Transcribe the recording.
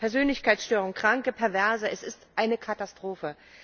Persönlichkeitsstörungen, Kranke, Perverse es ist eine Katastrophe!